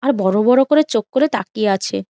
আর বড়ো বড়ো করে চোখ করে তাকিয়ে আছে।